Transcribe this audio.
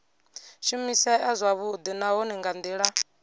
shumisea zwavhudi nahone nga ndila